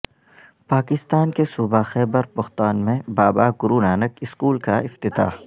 پاکستان کے صوبہ خیبر پختوان میں بابا گرونانک اسکول کا افتتاح